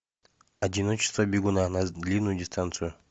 одиночество бегуна на длинную дистанцию